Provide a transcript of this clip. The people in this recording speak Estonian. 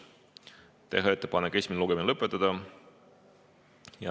Otsustati teha ettepanek esimene lugemine lõpetada.